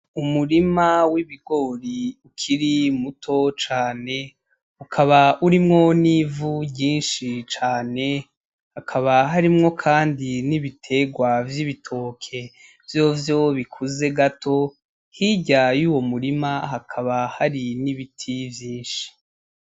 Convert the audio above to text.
Umurima w'ibigori ukiri muto cane ,ukaba urimwo n'ivu ryinshi cane ,hakaba harimwo kandi n'ibiterwa vy'ibitoke vyovyo bikuze gato hirya yuwo murima hakaba hari n'ibiti vyinshi.